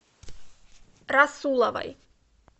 расуловой